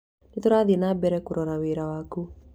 Nĩ tũrathiĩ na mbere kũrora wĩra wakũ.